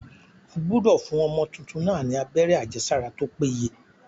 Ó gbúdọ̀ fún ọmọ tuntun náà ni abẹ́rẹ́ àjẹsára tó péye.